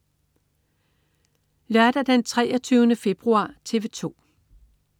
Lørdag den 23. februar - TV 2: